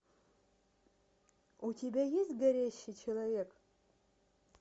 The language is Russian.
у тебя есть горящий человек